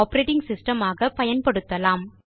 operating system ஆக பயன்படுத்தலாம்